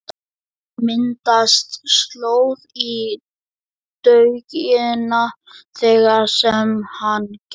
Það myndaðist slóð í dögg- ina þar sem hann gekk.